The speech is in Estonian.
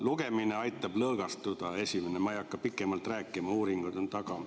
Lugemine aitab lõõgastuda, see on esiteks, ma ei hakka pikemalt rääkima, uuringud on seal taga.